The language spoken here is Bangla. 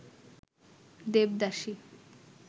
দেবদাসী